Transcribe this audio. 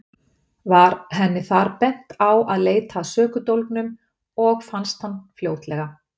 Var henni þar bent á að leita að sökudólgnum og fannst hann fljótlega.